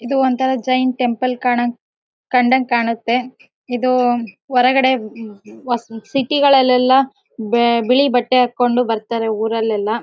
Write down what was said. ಇದು ಒಂತರ ಜೈನ ಟೆಂಪಲ್ ಕಣಂಗ್ ಕಂಡ್ ಹ್ಯಾಂಗ ಕಾಣುತ್ತೆ ಇದು ಹೊರಗಡೆ ಸಿಟಿ ಗಳಲೆಲ್ಲ ಬಿಳಿ ಬಟ್ಟೆ ಹಾಕ್ಕೊಂಡು ಬರ್ತಾರೆ ಊರಲೆಲ್ಲಾ.